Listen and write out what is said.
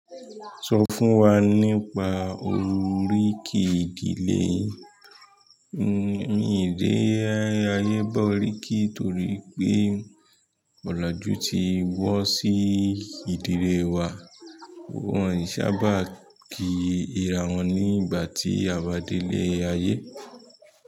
So wa nípa oriki ile yin. Mi ò dé ayé ba oríkì torí pé ọ̀làjú ti wọ́ sí ìdílé wa. Wọn ò sábà kí ìrá wọn ní ìgbà tí a bá délé ayé.